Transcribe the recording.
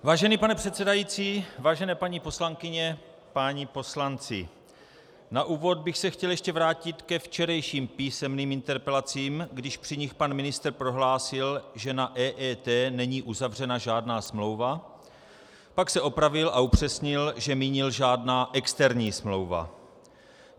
Vážený pane předsedající, vážené paní poslankyně, páni poslanci, na úvod bych se chtěl ještě vrátit ke včerejším písemným interpelacím, když při nich pan ministr prohlásil, že na EET není uzavřena žádná smlouva, pak se opravil a upřesnil, že mínil žádná externí smlouva.